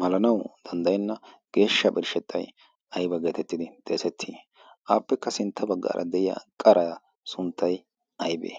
malanawu danddayenna geeshsha birshshettay ayba geetettidi deesettii aappekka sintta baggaara deyiya qaraa sunttay aybee